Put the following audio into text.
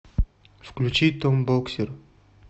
включи том боксер